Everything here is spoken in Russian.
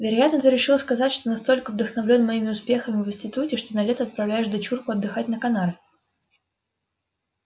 вероятно ты решил сказать что настолько вдохновлён моими успехами в институте что на лето отправляешь дочурку отдыхать на канары